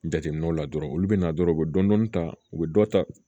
Jateminɛw la dɔrɔnw olu bɛ na dɔrɔn u bɛ dɔni ta u bɛ dɔ ta